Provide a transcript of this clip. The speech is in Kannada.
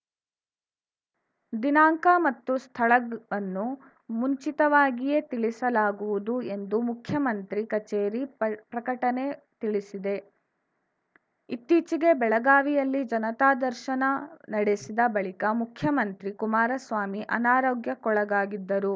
ದಿನಾಂಕ ಮತ್ತು ಸ್ಥಳವನ್ನು ಮುಂಚಿತವಾಗಿಯೇ ತಿಳಿಸಲಾಗುವುದು ಎಂದು ಮುಖ್ಯಮಂತ್ರಿ ಕಚೇರಿ ಪ್ರಕಟಣೆ ತಿಳಿಸಿದೆ ಇತ್ತೀಚೆಗೆ ಬೆಳಗಾವಿಯಲ್ಲಿ ಜನತಾದರ್ಶನ ನಡೆಸಿದ ಬಳಿಕ ಮುಖ್ಯಮಂತ್ರಿ ಕುಮಾರಸ್ವಾಮಿ ಅನಾರೋಗ್ಯಕ್ಕೊಳಗಾಗಿದ್ದರು